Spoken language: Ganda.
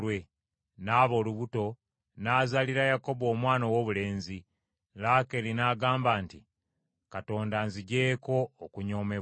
N’aba olubuto n’azaalira Yakobo omwana owoobulenzi, Laakeeri n’agamba nti, “Katonda anziggyeeko okunyoomebwa;”